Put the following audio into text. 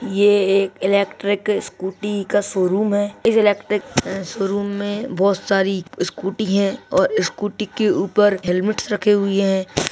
ये एक electric scooty का शोरूम है इस इलेक्ट्रिक शोरुम में बहुत सारी स्कूटी है और स्कूटी के ऊपर हैलमेटस रखे हुए है।